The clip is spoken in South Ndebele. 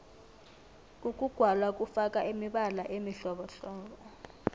ukugwala kufaka imibala emihlobohlobo